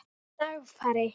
Dagfari